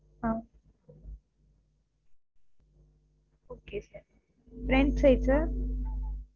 ah okay sirfront size sir